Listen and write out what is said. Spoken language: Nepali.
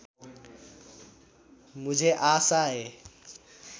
मुझे आशा है